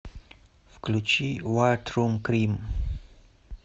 включи вайт рум крим